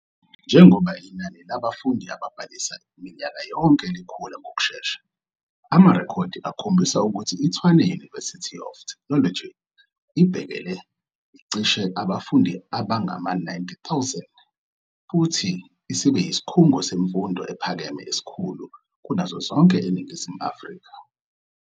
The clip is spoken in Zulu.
Njengoba inani labafundi ababhalisa minyaka yonke likhula ngokushesha, amarekhodi akhombisa ukuthi iTshwane University of Technology ibhekele cishe abafundi abangama-90,000 futhi isibe yisikhungo semfundo ephakeme esikhulu kunazo zonke eNingizimu Afrika.